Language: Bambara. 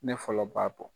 Ne fɔlɔ b'a bɔ